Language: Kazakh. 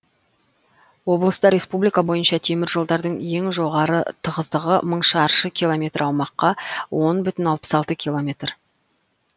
облыста республика бойынша теміржолдардың ең жоғары тығыздығы мың шаршы километр аумаққа он бүтін алпыс алты километр